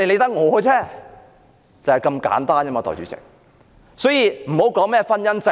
因此，大家不要討論婚姻制度。